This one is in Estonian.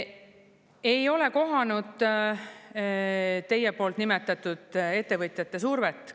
Ei ole kohanud teie poolt nimetatud ettevõtjate survet.